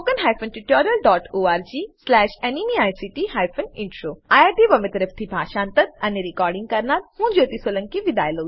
httpspoken tutorialorgNMEICT Intro IIT Bombay તરફથી હું જ્યોતી સોલંકી વિદાય લઉં છું